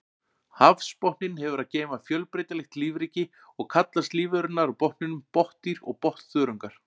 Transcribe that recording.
Hafsbotninn hefur að geyma fjölbreytilegt lífríki og kallast lífverurnar á botninum botndýr og botnþörungar.